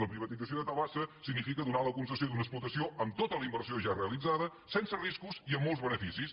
la privatització de tabasa significa donar la concessió d’una explotació amb tota la inversió ja realitzada sense riscos i amb molts beneficis